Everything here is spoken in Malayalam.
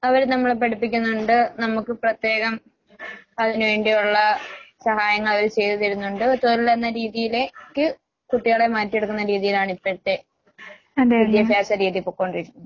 അവര് നമ്മളെ പഠിപ്പിക്കുന്നുണ്ട്. നമ്മുക്ക് പ്രത്യേകം അതിന് വേണ്ടിയൊള്ള സഹായങ്ങൾ അവർ ചെയ്ത് തരുന്നൊണ്ട്. തൊഴിൽ എന്ന രീതിയിലേക്ക് കുട്ടികളെ മാറ്റിയെടുക്കുന്ന രീതിയിലാണ് ഇപ്പഴത്തെ വിദ്യാഭ്യാസ രീതി പൊക്കോണ്ടിരിക്കുന്നത്.